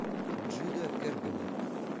джида кэргэммэр